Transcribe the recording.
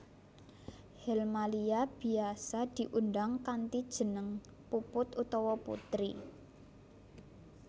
Helmalia biyasa diundang kanthi jeneng Puput utawa Putri